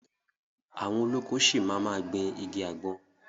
Àwọn olóko ṣi máa ma gbìn igi àgbọn.